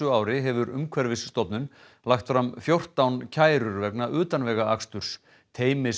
ári hefur Umhverfisstofnun lagt fram fjórtán kærur vegna utanvegaaksturs